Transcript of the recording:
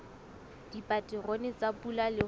dipaterone tsa pula le ho